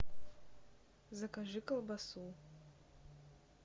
закажи колбасу